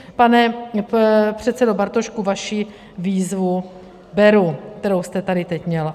Pane předsedo Bartošku, vaši výzvu beru, kterou jste tady teď měl.